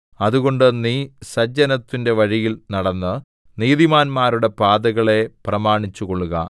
അതുകൊണ്ട് നീ സജ്ജനത്തിന്റെ വഴിയിൽ നടന്ന് നീതിമാന്മാരുടെ പാതകളെ പ്രമാണിച്ചുകൊള്ളുക